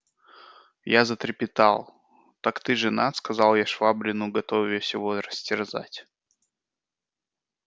я затрепетал так ты женат сказал я швабрину готовясь его растерзать